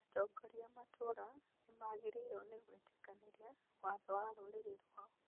Atongoria a matũra nĩmagĩrĩirwo nĩ gwĩtĩkanĩria watho wa rũrĩrĩ rwao